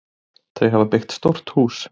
Þau hafa byggt stórt hús.